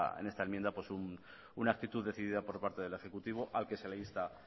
en esta enmienda un actitud decidida por parte del ejecutivo al que se le insta